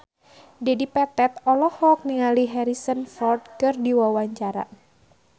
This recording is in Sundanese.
Dedi Petet olohok ningali Harrison Ford keur diwawancara